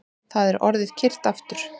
Það er orðið kyrrt aftur